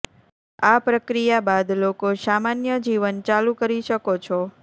આ પ્રક્રિયા બાદ લોકો સામાન્ય જીવન ચાલુ કરી શકો છો